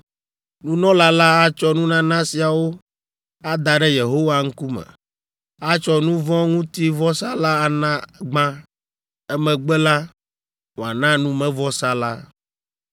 “ ‘Nunɔla la atsɔ nunana siawo ada ɖe Yehowa ŋkume. Atsɔ nu vɔ̃ ŋuti vɔsa la ana gbã, emegbe la, wòana numevɔsa la.